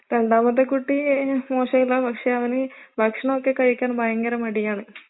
രണ്ടാമത്തെ കുട്ടി മോശമില്ല, പക്ഷെ അവന് ഭക്ഷണമൊക്കെ കഴിക്കാൻ ഭയങ്കര മടിയാണ്.